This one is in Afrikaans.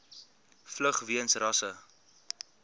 vlug weens rasse